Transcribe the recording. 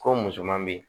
Ko musoman be yen